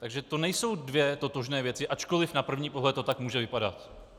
Takže to nejsou dvě totožné věci, ačkoliv na první pohled to tak může vypadat.